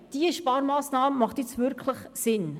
Diese Sparmassnahme macht wirklich Sinn.